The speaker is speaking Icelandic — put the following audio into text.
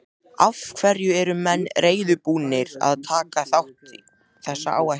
Af hverju er menn reiðubúnir að taka þessa áhættu?